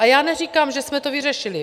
A já neříkám, že jsme to vyřešili.